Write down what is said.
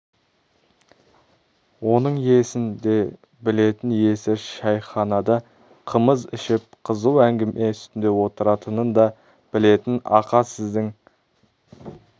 оның иесін де білетін иесі шәйханада қымыз ішіп қызу әңгіме үстінде отыратынын да білетін ақа сіздің